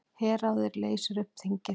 Herráðið leysir upp þingið